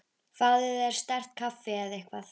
Fáðu þér sterkt kaffi eða eitthvað.